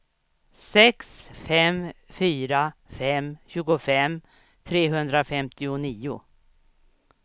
sex fem fyra fem tjugofem trehundrafemtionio